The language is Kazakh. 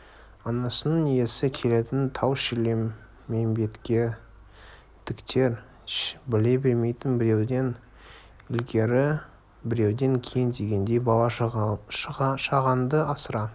анасының исі келетінін тау-шілмембеттіктер біле бермейтін біреуден ілгері біреуден кейін дегендей бала-шағаңды асыра